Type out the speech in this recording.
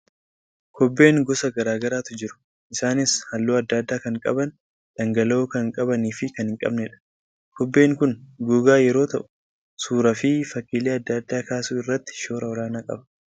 Kobbeen gosa garaa garaatu jiru. Isaanis halluu adda addaa kan qaban, dhangala'oo kan qabanii fi kan hin qabnedha. Kobbeen kun gogaa yeroo ta'u, suuraa fi fakkiilee adda addaa kaasuu irratti shoora olaanaa qaba.